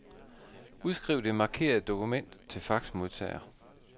Udskriv det markerede dokument til faxmodtager.